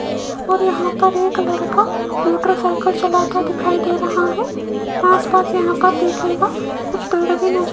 और यहां पर एक लड़का मोटरसाइकिल चलाता दिखाई दे रहा है आसपास यहां देखिएगा कुछ गाड़ी भी नजर --